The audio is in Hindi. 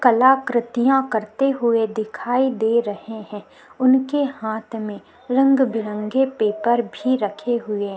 कलाकृतियाँ करते हुए दिखाई दे रहे है उनके हाथ में रंग बिरंगे पेपर भी रखे हुये है।